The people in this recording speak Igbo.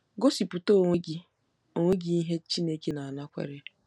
Gosipụta onwe gị onwe gị ihe Chineke na-anakwere